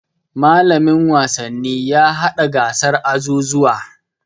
Mallamin wasanni ya haɗa gasar azuzuwa.